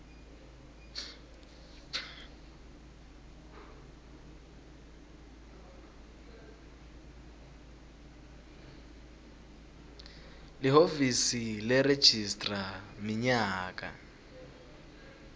lihhovisi leregistrar minyaka